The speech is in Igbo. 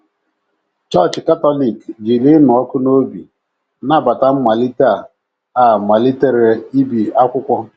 Chọọchị Katọlik jiri ịnụ ọkụ n’obi nabata mmalite a a malitere ibi akwụkwọ.